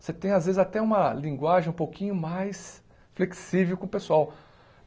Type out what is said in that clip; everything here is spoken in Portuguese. Você tem, às vezes, até uma linguagem um pouquinho mais flexível com o pessoal.